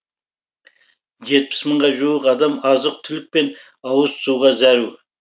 жетпіс мыңға жуық адам азық түлік пен ауыз суға зәру